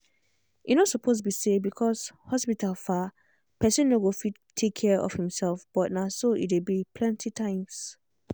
e no suppose be say because hospital far person no go fit take care of himself but na so e dey be plenty times.